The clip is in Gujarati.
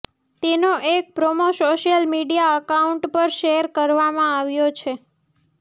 તેનો એક પ્રોમો સોશ્યલ મીડિયા એકાઉન્ટ પર શૅર કરવામાં આવ્યો છે